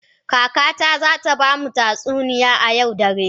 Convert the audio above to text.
Kakata za ta ba mu tatsuniya a yau dare.